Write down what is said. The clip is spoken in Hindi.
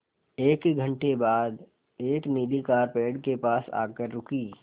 एक घण्टे बाद एक नीली कार पेड़ के पास आकर रुकी